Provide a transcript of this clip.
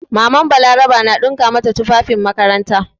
MamanBalaraba na ɗinka mata tufafin makaranta.